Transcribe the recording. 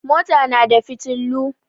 Mota na da fiotillu.